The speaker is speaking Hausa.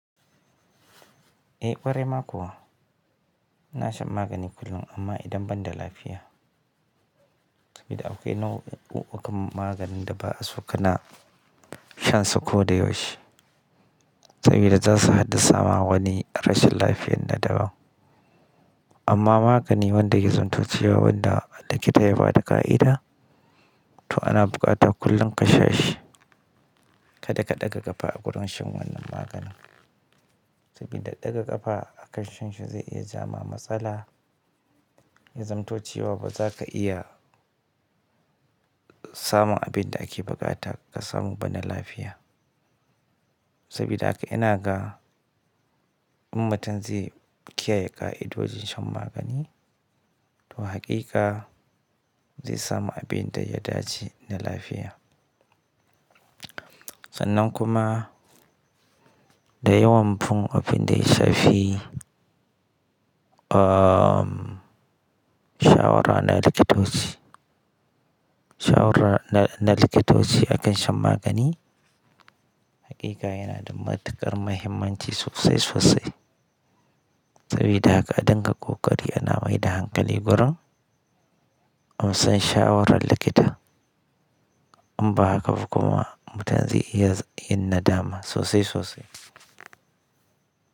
Eh ƙwarai ma kuwa. Ina shan magani kullum amma idan ban da lafiya. Sabida akwai nau'ukan maganin da ba a so ka na shan su ko da yaushe. Sabida zasu haddasa ma wani rashin lafiyar ta daban. Amma magani wanda ya zamto cewa wa wanda likita ya bada ƙa'ida to ana buƙatar kullum ka sha shi. Kada ka ɗaga ƙafa a gurin shan wannan magani. Saboda ɗaga ƙafa a kan shan shi zai iya ja ma matsala. Ya zamto cewa ba za ka iya samun abin da ake buƙata ka samu bana lafiya. Sabida haka inaga in mutum zai kiyaye ka'idojin shan magani, to hakika zai samu abin da ya dace na lafiya. Sannan kuma da yawan fim abin da ya shafi um, shawara na likitoci. Shawara na likitoci a kan shan magani hakika yana da matuƙar muhimmanci sosai sosai. Saboda haka a ɗinka ƙoƙari ana maida hankali gurin amsan shawarar likita. In ba haka ba kuma mutan zai iya yin nadama sosai sosai.